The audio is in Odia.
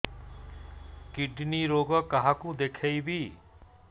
କିଡ଼ନୀ ରୋଗ କାହାକୁ ଦେଖେଇବି